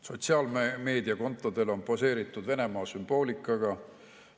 Sotsiaalmeediakontodel on poseeritud Venemaa sümboolikaga.